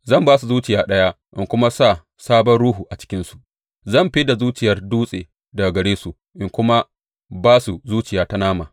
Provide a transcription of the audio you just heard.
Zan ba su zuciya ɗaya in kuma sa sabon ruhu a cikinsu; zan fid da zuciyar dutse daga gare su in kuma ba su zuciya ta nama.